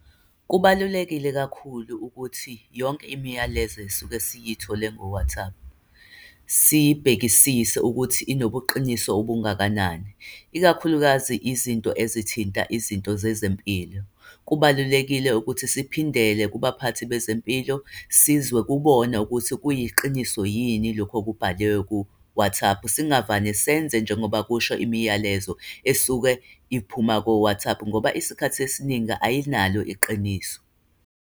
Kubalulekile kakhulu ukuthi yonke imiyalezo esuke siyithole ngo-WhatsApp, siyibhekisise ukuthi inobuqiniso okungakanani, ikakhulukazi izinto ezithinta izinto zezempilo. Kubalulekile ukuthi siphindele kubaphathi bezempilo sizwe kubona ukuthi kuyiqiniso yini lokho okubhaliwe ku-WhatsApp. Singavani senze njengoba kusho imiyalezo esuke iphuma ko-WhatsApp, ngoba isikhathi esiningi ayinalo iqiniso.